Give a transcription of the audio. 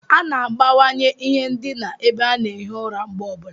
A na-agbanwanye ihe ndina ebe a na-ehi ụra mgbe ọ bụla.